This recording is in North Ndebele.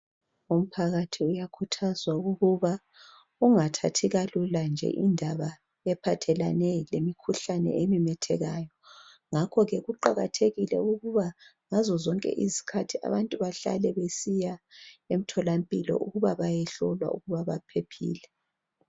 Umphakathi uyakhuthazwa ukuba ungathathi kalula nje indaba ephathelane lemikhuhlane ememethekayo ngakho ke kuqakathekile ukuba ngazo zonke isikhathi abantu bahlale besiya emtholampilo ukuba bayehlolwa ukuba baphephile